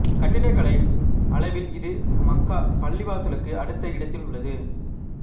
கட்டிடக்கலை அளவில் இது மக்கா பள்ளிவாசலுக்கு அடுத்த இடத்தில் உள்ளது